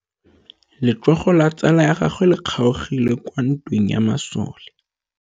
Letsôgô la tsala ya gagwe le kgaogile kwa ntweng ya masole.